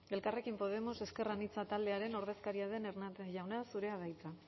elkarrekin podemos ezker anitza taldearen ordezkaria den hernández jauna zurea da hitza